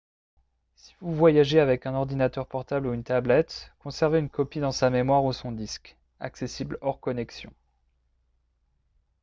si vous voyagez avec un ordinateur portable ou une tablette conservez une copie dans sa mémoire ou son disque accessibles hors connexion